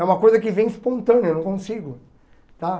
É uma coisa que vem espontânea, eu não consigo tá.